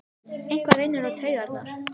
Eitthvað reynir á taugarnar